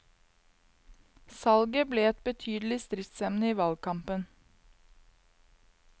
Salget ble et betydelig stridsemne i valgkampen.